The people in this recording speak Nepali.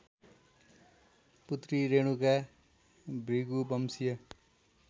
पुत्री रेणुका भृगुवंशीय